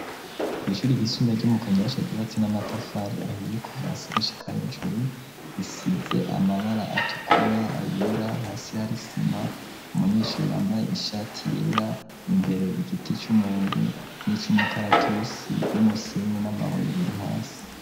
Kw'ishuri ryisumbuye ryo mu kanyosha gibatse n'amatafari ahiye kuvasi gushyikah ijuru risitze amabara atukura ayera hasi hari sima umunyeshuri wambaye ishati yera imbere igiti cy'umuhembe n'icy'umukaratusi n'umusenyi n'amabuye biri hasi.